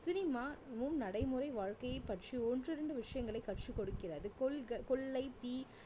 cinema இன்னும் நடைமுறை வாழ்க்கையை பற்றி ஒன்றிரண்டு விஷயங்களை கற்றுக் கொடுக்கிறது கொள்க~கொள்ளை தீ